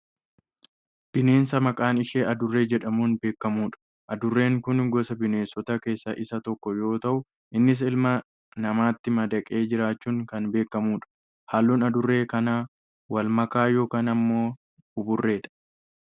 Bineensa maqaan ishee adurree jedhamuun beekkamudha. Adurreen kun gosa bineensotaa keessaa isa tokko yoo ta'u innis ilma namaati madaqee jiraachuun kan beekkamudha. Halluun adurree kanaa wal makaa yookaan ammoo buburreedha.